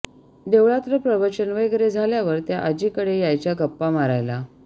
देवळातलं प्रवचन वगैरे झाल्यावर त्या आजीकडे यायच्या गप्पा मारायला